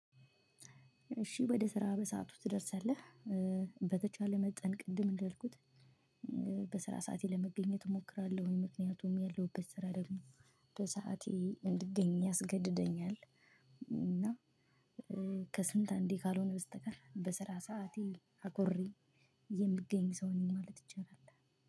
እሺ ወደ ስራ በሰአቱ ትደርሳለህ? በተቻለ መጠን ቅድም እንዳልኩት በስራ ሰዓቴ ለመገኘት እሞክራለሁኝ ምክንያቱም ያለሁበት ስራ ደግሞ በሰአቴ እንድገኝ ያስገድደኛል። እና ከስንት አንዴ ካልሆነ በስተቀር በስራ ሰዓቴ አክብሬ የምገኝ ሰው ነኝ ማለት ይቻላል።